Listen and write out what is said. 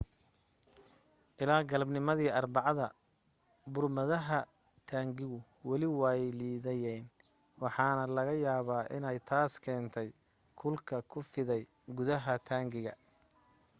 ilaa galabnimadii arbacada burmadaha taangigu weli way liidayeen waxaana laga yaaba inay taas keentay kulka ku fiday gudaha taangiga